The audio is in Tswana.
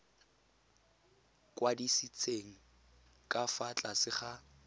kwadisitsweng ka fa tlase ga